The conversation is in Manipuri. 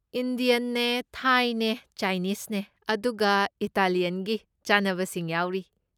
ꯏꯟꯗꯤꯌꯟꯅꯦ, ꯊꯥꯏꯅꯦ, ꯆꯥꯏꯅꯤꯁꯅꯦ ꯑꯗꯨꯒ ꯏꯇꯥꯂꯤꯌꯟꯒꯤ ꯆꯥꯅꯕꯁꯤꯡ ꯌꯥꯎꯔꯤ꯫